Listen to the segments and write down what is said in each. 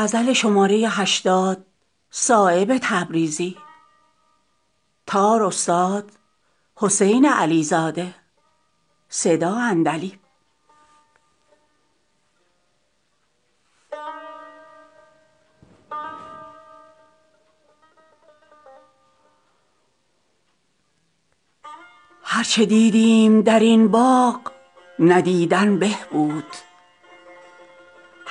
اهل معنی به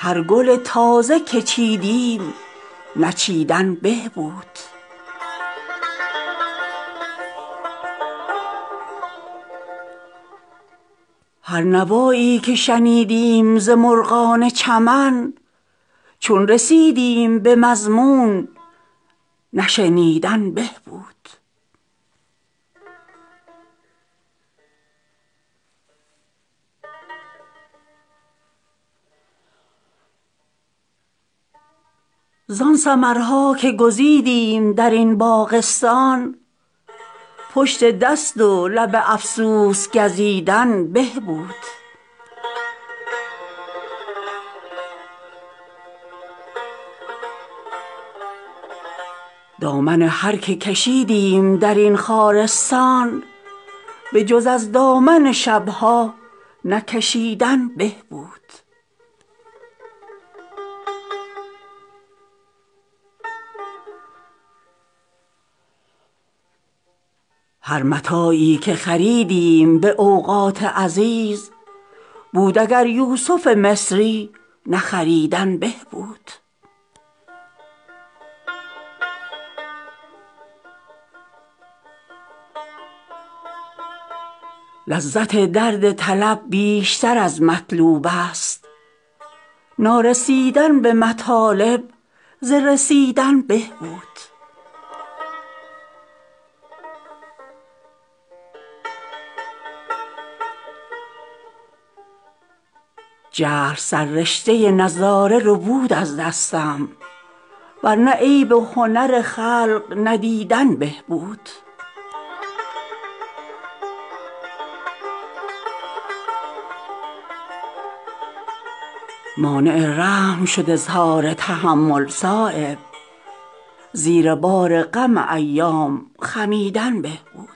سخن بلبل بستان خودند به نظر آینه دار دل حیران خودند پای رغبت نگذارند به دامان بهشت همه در سیر گلستان ز گریبان خودند جگر تشنه به سرچشمه حیوان نبرند این سکندرمنشان چشمه حیوان خودند چشم چون لاله به لخت جگر خود دارند میزبان خود و مهمان سر خوان خودند در ته توده خاکستر هستی چون برق گرم روشنگری آینه جان خودند از خدا رنج خود و راحت مردم طلبند مرهم زخم کسان داغ نمایان خودند به نسیم سخن سرد پریشان نشوند همچو دستار سر صبح پریشان خودند عشوه خرمن گل را به جوی نستانند غنچه خسبان ریاضت گل دامان خودند گاه در قبضه بسطند و گهی در کف قبض دمبدم قفل و کلید در زندان خودند چه عجب گر سخن تلخ به شکر گویند که ز شیرین سخنیها شکرستان خودند پرتو مهر به افسرده دلان ارزانی خانمان سوختگان شمع شبستان خودند فرصت دیدن عیب و هنر خلق کجاست که به صد چشم شب و روز نگهبان خودند خاطر جمع ازین قوم طلب کن صایب که پریشان شده فکر پریشان خودند